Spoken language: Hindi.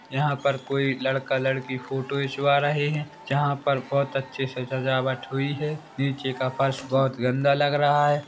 यहाँ पर कोई लड़का- लड़की फोटो खिंचवा रहे हैं जहाँ पर बहोत अच्छी सी सजावट हुई है नीचे का फर्श बहोत गंदा लग रहा--